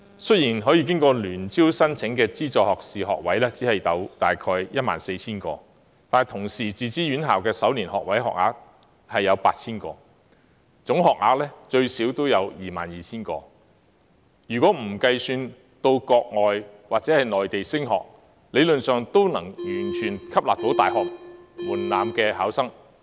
雖然可以經過聯合招生申請的資助學士學位只有大約 14,000 個，但自資院校的首年學位學額有 8,000 個，總學額最少有 22,000 個，不計到國外或內地升學的學生，這學額理論上都能完全吸納符合大學入學門檻的考生。